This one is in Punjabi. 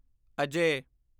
ਅਜੇ